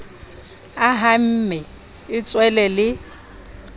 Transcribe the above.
a hamme e tswele le